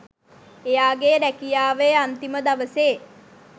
එයාගේ රැකියාවේ අන්තිම දවසේ